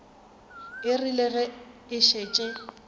e rile ge e šetše